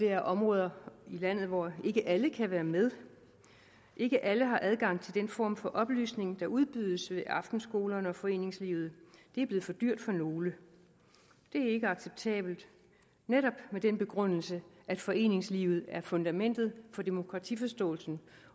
er områder i landet hvor ikke alle kan være med ikke alle har adgang til den form for oplysning der udbydes i aftenskolerne og i foreningslivet det er blevet for dyrt for nogle det er ikke acceptabelt netop med den begrundelse at foreningslivet er fundamentet for demokratiforståelsen